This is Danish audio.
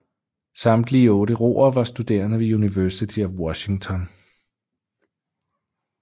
Samtlige otte roere var studerende ved University of Washington